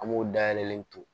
An b'o dayɛlɛ ton